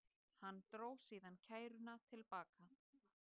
Hann dró síðan kæruna til baka